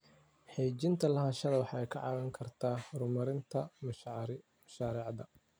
Xaqiijinta lahaanshaha waxay kaa caawin kartaa horumarinta mashaariicda.